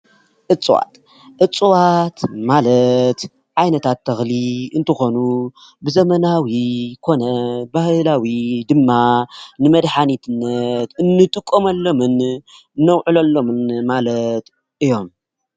ዕፅዋት፦ ዕፅዋት ማለት ዓይነታት ተክሊ እንትኮኑ ብዘመናዊ ኮነ ብባህላዊ ድማ ንመዳሓንቲነት ንጥቀመሎም ነውዕሎሎም ማለት እዩም።